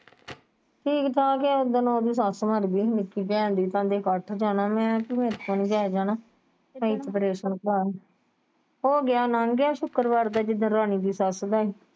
ਠੀਕ ਠਾਕ ਏ ਉਸਦਿਨ ਓਹਦੀ ਸੱਸ ਮਰ ਗਈ ਸੀ ਨਿੱਕੀ ਭੈਣ ਦੀ ਕਹਿੰਦੇ ਕੱਠ ਜਾਣਾ ਮੈਂ ਕਿਹਾ ਮੇਰੇ ਕੋਲੋਂ ਨਹੀਂ ਜਾਇਆ ਜਾਣਾ ਹੋਗਿਆ ਲੰਘ ਗਿਆ ਸ਼ੁੱਕਰਵਾਰ ਦਾ ਜਿੱਦਣ ਰਾਣੀ ਦੀ ਸੱਸ ਦਾ ਹੀ।